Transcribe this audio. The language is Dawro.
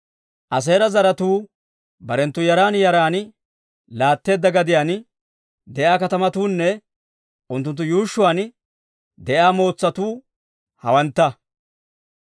Aaseera zaratuu barenttu yaran yaran laatteedda gadiyaan de'iyaa katamatuunne unttunttu yuushshuwaan de'iyaa mootsatuu hawantta.